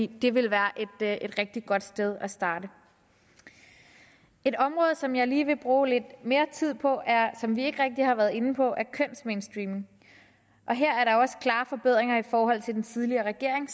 det vil være et rigtig godt sted at starte et område som jeg lige vil bruge lidt mere tid på er et som vi ikke rigtig har været inde på kønsmainstreaming her er der også klare forbedringer i forhold til under den tidligere regering